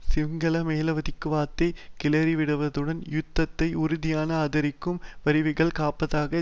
சிங்கள மேலாதிக்கவாதத்தை கிளறிவிடுவதுடன் யுத்தத்தை உறுதியாக ஆதரிக்கும் வறியவர்களை காப்பதாக